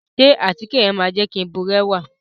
Ṣe àtíke yẹn ma jẹ ki n burẹwa?